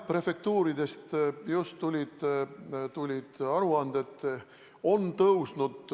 Prefektuuridest just tulid aruanded.